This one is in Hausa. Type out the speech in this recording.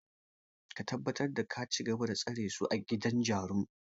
Ka tabbatar da ka cigaba da tsare su a gidan jarun!